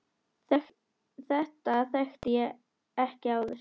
Þetta þekkti ég ekki áður.